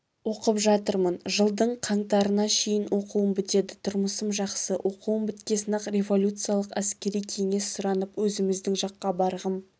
оқып жатырмын жылдың қаңтарына шейін оқуым бітеді тұрмысым жақсы оқуым біткесін-ақ революциялық әскери кеңес сұранып өзіміздің жаққа барғым